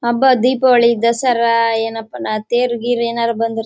ಹಬ್ಬ ದೀಪಾವಳಿ ದಸರಾ ಏನಪ್ಪಾ ನ ತೇರು ಗೀರು ಬಂದಿರ್--